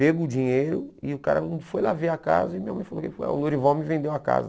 Pegou o dinheiro e o cara foi lá ver a casa e minha mãe falou que que foi ah o Lourival me vendeu a casa.